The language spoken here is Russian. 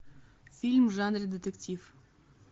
фильм в жанре детектив